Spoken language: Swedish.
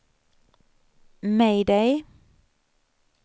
mayday